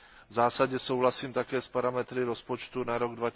V zásadě souhlasím také s parametry rozpočtu na rok